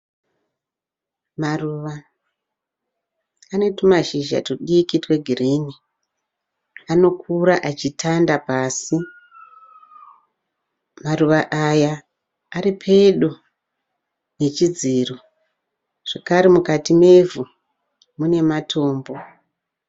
Maruva ane tumashizha tudiki twe green, anokura achitanda pasi, maruva aya aripedo nechidziro, zvakare mukati mevhu mune matombo.